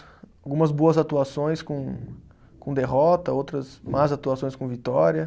Algumas boas atuações com com derrota, outras más atuações com vitória.